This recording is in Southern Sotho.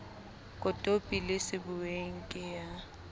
kotopi le sebuweng ke ya